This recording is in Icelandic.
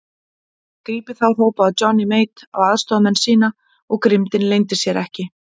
Grípið þá hrópaði Johnny Mate á aðstoðarmenn sína og grimmdin leyndi sér ekki.